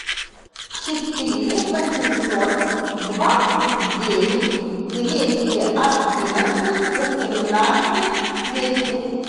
четыре восемьсот двадцать девять двести одиннадцать восемнадцать десять